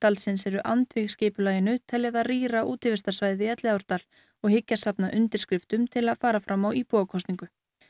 Elliðaárdalsins eru andvíg skipulaginu telja það rýra útivistarsvæðið í Elliðaárdal og hyggjast safna undirskriftum til að fara fram á íbúakosningu